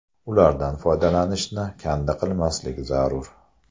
Ulardan foydalanishni kanda qilmaslik zarur.